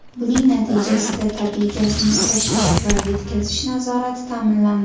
Buning natijasida, tabiiy gazni tashish va yetkazish nazorati ta’minlandi.